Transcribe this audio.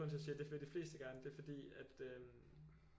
Grunden til at jeg siger det vil de fleste gerne det er fordi at øh